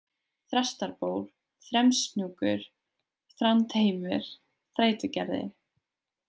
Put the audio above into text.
Þrastarból, Þremshnjúkur, Þrándheimur, Þrætugerði